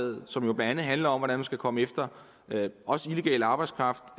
og som jo blandt andet handler om hvordan man skal komme efter også illegal arbejdskraft